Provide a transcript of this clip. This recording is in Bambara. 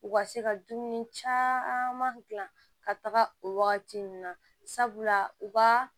U ka se ka dumuni caman gilan ka taga o wagati ninnu na sabula u ka